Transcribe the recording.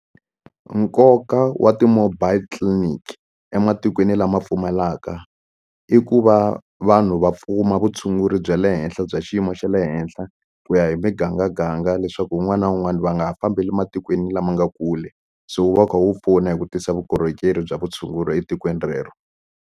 Nkoka wa ti-mobile clinic ematikweni lama pfumalaka i ku va vanhu va vutshunguri bya le henhla bya xiyimo xa le henhla ku ya hi migangaganga leswaku un'wana na un'wana va nga fambeli ematikweni lama nga kule so wu va wu kha wu pfuna hi ku tisa vukorhokeri bya vutshunguri etikweni rero.